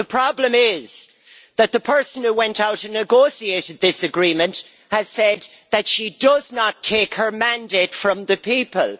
The problem is that the person who went out and negotiated this agreement has said that she does not take her mandate from the people.